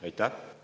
Aitäh!